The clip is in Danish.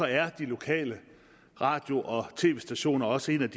er de lokale radio og tv stationer også et